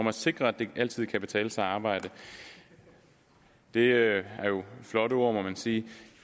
at sikre at det altid kan betale sig at arbejde det er jo flotte ord må man sige